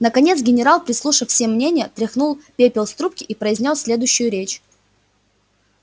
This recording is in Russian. наконец генерал прислушав все мнения вытряхнул пепел из трубки и произнёс следующую речь